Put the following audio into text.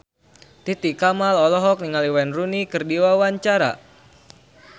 Titi Kamal olohok ningali Wayne Rooney keur diwawancara